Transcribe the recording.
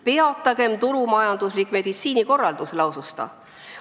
"Peatagem turumajanduslik meditsiinikorraldus," lausus ta.